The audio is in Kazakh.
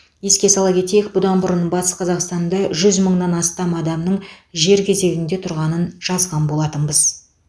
еске сала кетейік бұдан бұрын батыс қазақстанда жүз мыңнан астам адамның жер кезегінде тұрғанын жазған болатынбыз